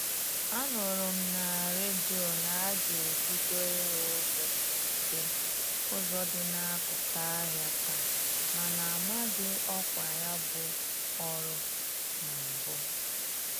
A nụrụ m na redio na-aga ebido ịrụ ụzọ dị ụzọ dị n'akụkụ ahịa taa mana amaghị ọkwa ya bụ ọrụ na mbụ.